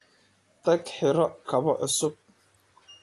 Tag xidho kabo cusub.